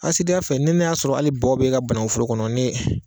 Asidiya ya fɛ ni ne y'a sɔrɔ ale bɔ b'e ka bananguforo kɔnɔ ne